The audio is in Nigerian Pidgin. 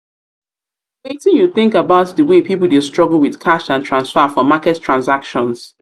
wetin you think about di way people dey struggle with cash and transfer for market transactions?